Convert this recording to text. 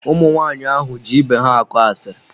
Ụmụ nwaanyị ahụ ji ibe ha akọ asiri.